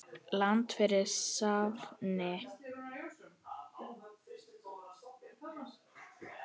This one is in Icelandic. Land fyrir stafni!